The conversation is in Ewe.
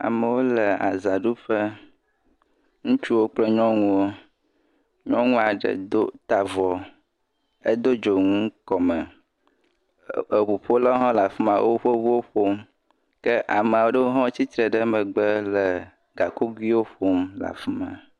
Ame aɖewo le azã ɖu ƒe. Ŋutsuwo kple nyɔnuwo. Nyɔnua ɖe ta avɔ, edo dzonu kɔme, eŋuƒolawo nɔ afima, woƒe ŋuwo ƒom. Ke ame aɖewo hã tsitre ɖe megbe le gakoguiwo ƒom le afima.